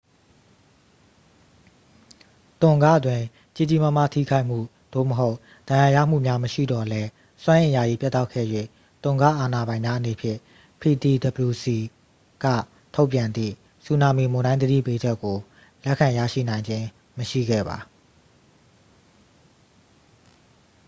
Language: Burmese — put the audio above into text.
တွန်ဂ တွင် ကြီးကြီးမားမား ထိခိုက်မှု သို့မဟုတ် ဒဏ်ရာရမှုများ မရှိသော်လည်း စွမ်းအင် ယာယီ ပြတ်တောက်ခဲ့၍ tonga အာဏာပိုင်များအနေဖြင့် ptwc က ထုတ်ပြန်သည့် ဆူနာမီမုန်တိုင်း သတိပေးချက်ကို လက်ခံရရှိနိုင်ခြင်း မရှိခဲ့ပါ